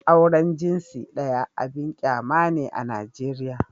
Auren jinsi ɗaya abin kyama ne a Najeriya